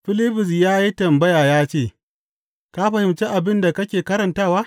Filibus ya yi tambaya ya ce, Ka fahimci abin da kake karantawa?